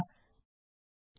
6